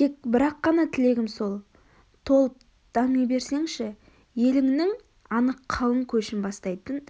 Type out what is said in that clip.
тек бір-ақ қана тілегім сол толып дами берсеңші еліңнің анық қалың көшін бастайтын